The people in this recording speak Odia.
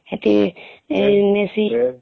ହେଟି.ହମ୍ ନେସି